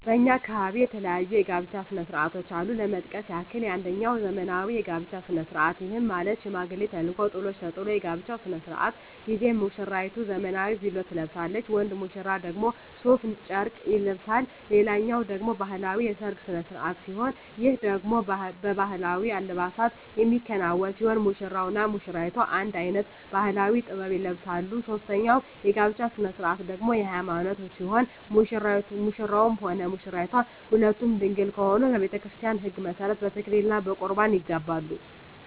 በእኛ አካባቢ የተለያዩ የጋብቻ ስነ ስርዓቶች አሉ ለመጥቀስ ያክል አንጀኛው ዘመናዊ የጋብቻ ስነ ስርዓት ይህም ማለት ሽማግሌ ተልኮ ጥሎሽ ተጥሎ የጋብቻው ስነ ስርዓት ጊዜ ሙስራይቱ ዘመናዊ ቬሎ ትለብሳለች ወንድ ሙሽራው ደግሞ ሡፍ ጨርቅ ይለብሳል ሌላኛው ደግሞ ባህላዊ የሰርግ ስነ ስርዓት ሲሆን ይህ ደግሞ በባህላዊ አልባሳት የሚከናወን ሲሆን ሙሽራው እና ሙሽሪቷ አንድ አይነት ባህላዊ(ጥበብ) ይለብሳሉ ሶስተኛው የጋብቻ ስነ ስርዓት ደግሞ የሀይማኖት ሲሆን ሙሽራውም ሆነ ሙሽራይቷ ሁለቱም ድንግል ከሆኑ በቤተክርስቲያን ህግ መሠረት በተክሊል እና በቁርባን ይጋባሉ።